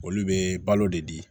Olu bɛ balo de di